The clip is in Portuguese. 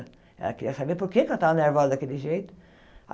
Ela queria saber por que eu estava nervosa daquele jeito.